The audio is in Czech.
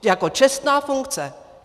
Jako čestná funkce.